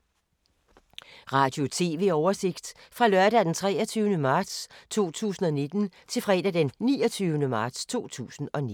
Radio/TV oversigt fra lørdag d. 23. marts 2019 til fredag d. 29. marts 2019